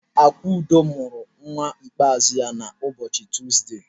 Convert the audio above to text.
Akudo mụrụ nwa ikpeazụ ya na ụbọchị Tọzde.